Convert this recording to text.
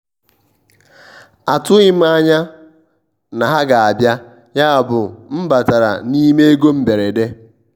atụghị m anya na ha ga abịa yabụ m batara n'ime ego mberede.